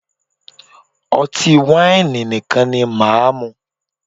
Ọtí wáìnì nìkan ni máà mú.